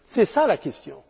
C'est ça la question.